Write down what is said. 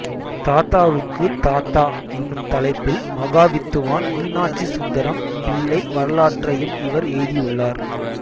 தாத்தாவுக்குத் தாத்தா என்னும் தலைப்பில் மகாவித்துவான் மீனாட்சி சுந்தரம் பிள்ளை வரலாற்றையும் இவர் எழுதியுள்ளார்